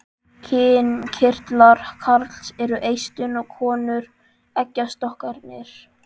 Kynkirtlar karls eru eistun en konu eggjastokkarnir.